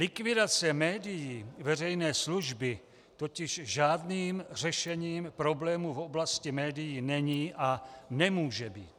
Likvidace médií veřejné služby totiž žádným řešením problému v oblasti médií není a nemůže být.